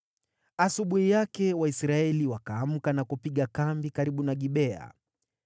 Asubuhi yake Waisraeli wakaamka na kupiga kambi karibu na Gibea.